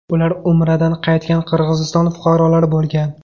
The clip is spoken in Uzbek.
Ular Umradan qaytgan Qirg‘iziston fuqarolari bo‘lgan.